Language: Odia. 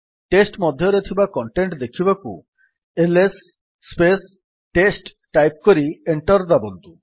ଟେଷ୍ଟ୍ ମଧ୍ୟରେ ଥିବା କଣ୍ଟେଣ୍ଟ୍ ଦେଖିବାକୁ ଆଇଏସ ଟେଷ୍ଟ ଟାଇପ୍ କରି ଏଣ୍ଟର୍ ଦାବନ୍ତୁ